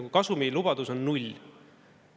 Seal kasumi lubadus on null.